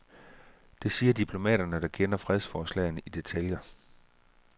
Det siger diplomater, der kender fredsforslagene i detaljer.